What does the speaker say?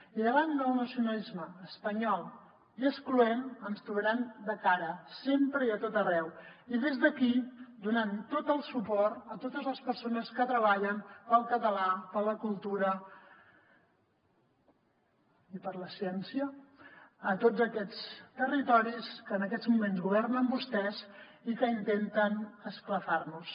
i davant el nacionalisme espanyol i excloent ens trobaran de cara sempre i a tot arreu i des d’aquí donant tot el suport a totes les persones que treballen pel català per a la cultura i per la ciència a tots aquests territoris que en aquests moments governen vostès i que intenten esclafar nos